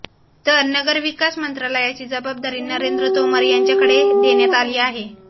तर नगरविकास मंत्रालयाची जबाबदारी नरेंद्र तोमर यांच्याकडे दण्यात आली आहे